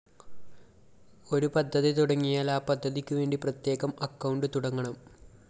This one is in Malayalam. ഒരു പദ്ധതി തുടങ്ങിയാല്‍ ആ പദ്ധതിക്കുവേണ്ടി പ്രത്യേകം അക്കൌണ്ട്‌ തുടങ്ങണം